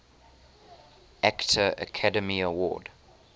actor academy award